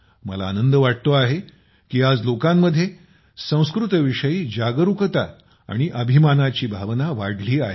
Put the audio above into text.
मला आनंद वाटतो आहे की आज लोकांमध्ये संस्कृत विषयी जागरूकता आणि अभिमानाची भावना वाढली आहे